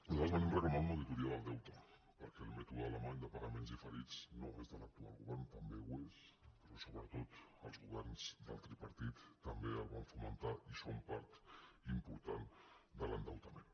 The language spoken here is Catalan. nosaltres venim reclamant una auditoria del deute perquè el mètode alemany de pagaments diferits no és de l’actual govern també ho és però sobretot els governs del tripartit també el van fomentar i són part important de l’endeutament